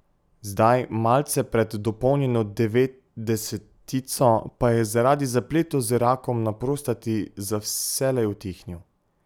Zdaj, malce pred dopolnjeno devetdesetico, pa je zaradi zapletov z rakom na prostati za vselej utihnil.